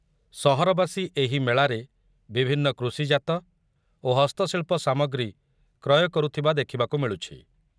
ସହରବାସୀ ଏହି ମେଳାରେ ବିଭିନ୍ନ କୃଷିଜାତ ଓ ହସ୍ତଶିଳ୍ପ ସାମଗ୍ରୀ କ୍ରୟ କରୁଥିବା ଦେଖିବାକୁ ମିଳୁଛି।